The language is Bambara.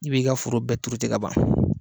I b'i ka foro bɛɛ tuuru ten k'a ban.